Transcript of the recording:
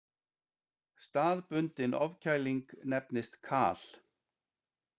Staðbundin ofkæling nefnist kal.